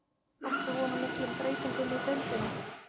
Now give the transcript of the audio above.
Áttu von á miklum breytingum í deildinni?